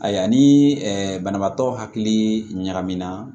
Ayiwa ani banabaatɔ hakili ɲagamina